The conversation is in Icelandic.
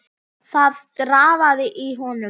Það drafaði í honum.